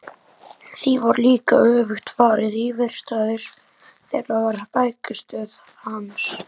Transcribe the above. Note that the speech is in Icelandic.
Því var líka öfugt farið: íverustaður þeirra var bækistöð hans.